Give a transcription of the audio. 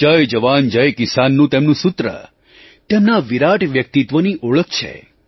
જય જવાન જય કિસાનનું તેમનું સૂત્ર તેમના આ વિરાટ વ્યક્તિત્વની ઓળખ છે